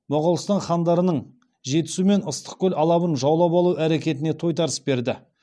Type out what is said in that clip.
моғолстан хандарының жетісу мен ыстықкөл алабын жаулап алу әрекетіне тойтарыс берді